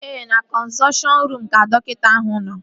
Ee, na kọnzọlteshọn ruum ka dọkịta ahụ nọ